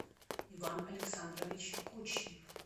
иван александрович кучнев